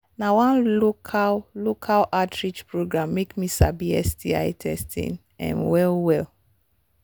na one local local outreach program make me sabi sti testing um well well